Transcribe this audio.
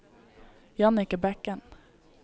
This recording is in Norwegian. Jannicke Bekken